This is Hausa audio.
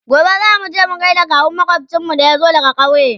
gobe zamuje gaida kawun makwafcinmu da ya zo daga ƙauye